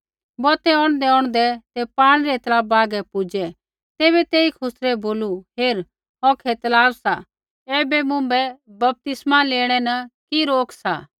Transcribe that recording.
बौतै औंढदैऔंढदै ते पाणी रै तलाबा हागै पुजै तैबै तेई खुसरै बोलू हेर औखै तलाब सा ऐबै मुँभै बपतिस्मै लेणै न कि रोक सा